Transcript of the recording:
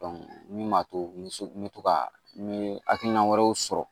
min b'a to n bɛ so n bɛ to ka n ye hakilina wɛrɛw sɔrɔ